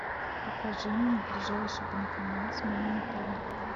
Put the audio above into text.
покажи мне ближайший банкомат с моим отелем